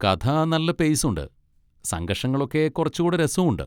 കഥ നല്ല പെയ്സ് ഉണ്ട്, സംഘർഷങ്ങളൊക്കെ കുറച്ചുകൂടെ രസവും ഉണ്ട്.